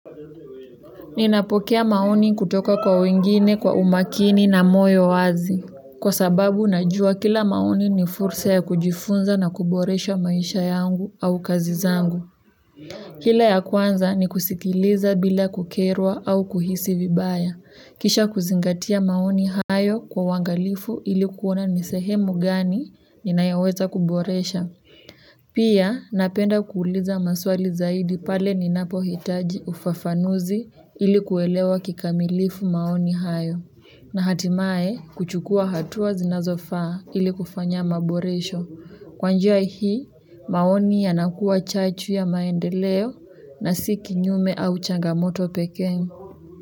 Ninapokea maoni kutoka kwa wengine kwa umakini na moyo wazi. Kwa sababu ninajua kila maoni ni fursa ya kujifunza na kuboresha maisha yangu au kazi zangu. Kila ya kwanza ni kusikiliza bila kukerwa au kuhisi vibaya. Kisha kuzingatia maoni hayo kwa uangalifu ili kuona ni sehemu gani ninayaweza kuboresha. Pia napenda kuuliza maswali zaidi pale ninapohitaji ufafanuzi ili kuelewa kikamilifu maoni hayo na hatimaye kuchukua hatua zinazofaa ili kufanya maboresho kwa njia hii maoni yanakuwa chachu ya maendeleo na si kinyume au changamoto pekee.